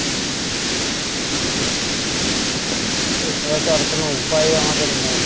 ঠিক আছে এছাড়া তো আর কোনো উপাই আমাদের নেই,